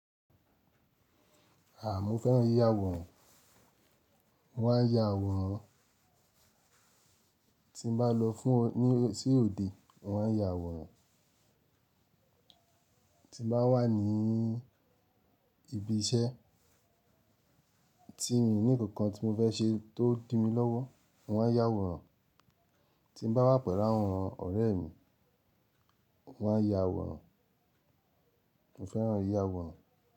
Àà, mo fẹ́ràn yíya àwòrán. Mo máa ń ya àwòrán tí n bá lọ fún ní sí òde. Mo ma ń ya àwòrán tí n bá wà ní ibi iṣẹ́ tí mi ní kankan tí mo fẹ́ ṣe tó ń di mí lọ́wọ́. Mo ma ń ya àwòrán tí mo bá wà pẹ̀lú àwọn ọ̀rẹ́ mi. Mo ma ń ya àwòrán. Mo fẹ́ràn yíya àwòrán.